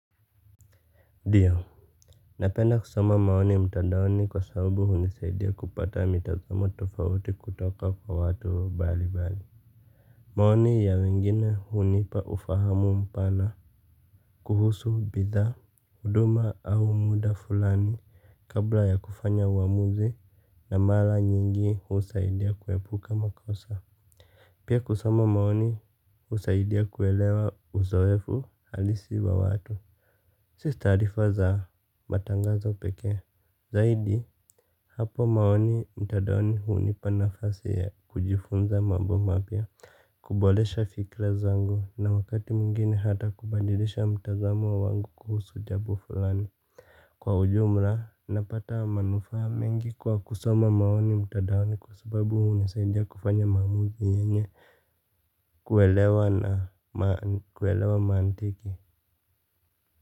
Ndiyo napenda kusoma maoni mtadaoni kwa sabubu hunisaidia kupata mitazamo tofauti kutoka kwa watu mbali mbali. Maoni ya wengine hunipa ufahamu mpana. Kuhusu bidhaa, huduma au muda fulani kabla ya kufanya uamuzi na mara nyingi husaidia kuepuka makosa. Pia kusoma maoni husaidia kuelewa uzoefu halisi wa watu. Si taarifa za matangazo pekee, zaidi hapo maoni mtandaoni hunipa nafasi ya kujifunza mambo mapya, kuboresha fikra zangu na wakati mwingine hata kubadilisha mtazamo wangu kuhusu jambo fulani. Kwa ujumla, napata manufaa mengi kwa kusoma maoni mtandaoni kwa sababu hunisaidia kufanya maamuzi yenye kuelewa na kuelewa mantiki.